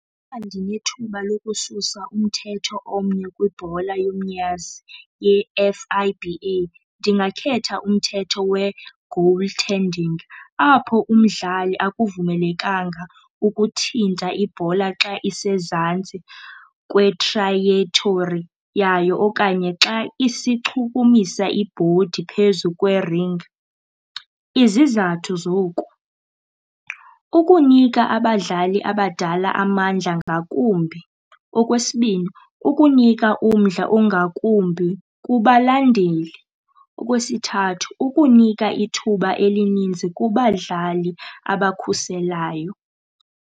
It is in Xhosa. Xa ndinethuba lokususa umthetho omnye kwibhola yomnyazi ye-F_I_B_A ndingakhetha umthetho we-goal tending apho umdlali akuvumelekanga ukuthinta ibhola xa isezantsi kwetrayethori yayo okanye xa isichukumisa ibhodi phezu kweringi. Izizathu zoku kukunika abadlali abadala amandla ngakumbi. Okwesibini, ukunika umdla ongakumbi kubalandeli. Okwesithathu, ukunika ithuba elininzi kubadlali abakhuselayo.